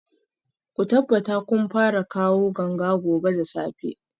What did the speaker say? Ku tabbata kun fara kawo ganga gobe da safe